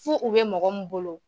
F'u u bɛ mɔgɔ min bolo.